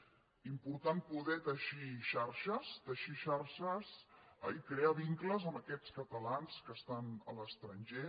és important poder teixir xarxes teixir xarxes i crear vincles amb aquests catalans que estan a l’estranger